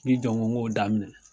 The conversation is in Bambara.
N k'i jɔ n k'o n ko daminɛ